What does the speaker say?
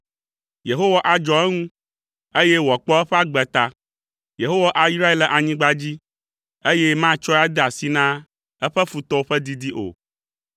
Yehowa adzɔ eŋu, eye wòakpɔ eƒe agbe ta. Yehowa ayrae le anyigba dzi, eye matsɔe ade asi na eƒe futɔwo ƒe didi o.